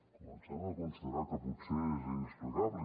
comencem a conside rar que potser és inexplicable